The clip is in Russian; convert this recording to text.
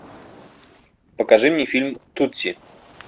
покажи мне фильм тутси